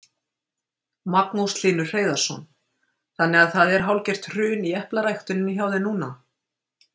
Magnús Hlynur Hreiðarsson: Þannig að það er hálfgert hrun í eplaræktuninni hjá þér núna?